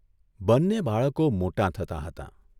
બંને બાળકો મોટાં થતા હતાં.